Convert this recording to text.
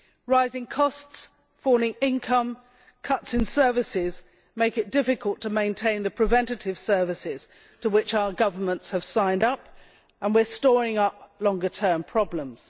Rising costs, falling income and cuts in services make it difficult to maintain the preventative services to which our governments have signed up, and we are storing up longer term problems.